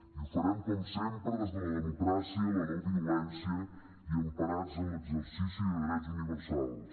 i ho farem com sempre des de la democràcia la no violència i emparats en l’exercici de drets universals